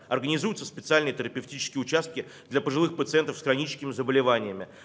организуются специальные терапевтические участки для пожилых пациентов с хроническими заболеваниями